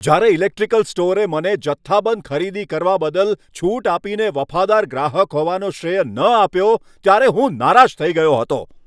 જ્યારે ઇલેક્ટ્રિકલ સ્ટોરે મને જથ્થાબંધ ખરીદી કરવા બદલ છૂટ આપીને વફાદાર ગ્રાહક હોવાનો શ્રેય ન આપ્યો ત્યારે હું નારાજ થઈ ગયો હતો.